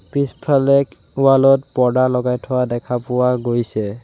পিছফালে ৱাল ত পৰ্দা লগাই থোৱা দেখা পোৱা গৈছে।